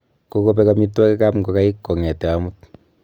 Kokobek amitwogikab ngokaik kong'etke omut.